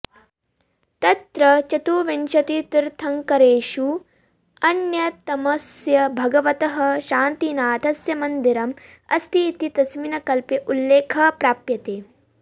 तत्र चतुर्विंशतितीर्थङ्करेषु अन्यतमस्य भगवतः शान्तिनाथस्य मन्दिरम् अस्ति इति तस्मिन् कल्पे उल्लेखः प्राप्यते